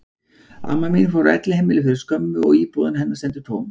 Amma mín fór á elliheimili fyrir skömmu og íbúðin hennar stendur tóm.